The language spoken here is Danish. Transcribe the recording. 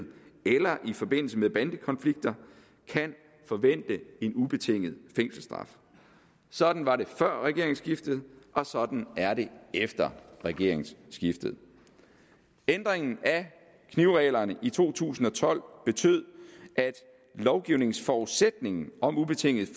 eller i forbindelse med bandekonflikter kan forvente en ubetinget fængselsstraf sådan var det før regeringsskiftet og sådan er det efter regeringsskiftet ændringen af knivreglerne i to tusind og tolv betød at lovgivningsforudsætningen om ubetinget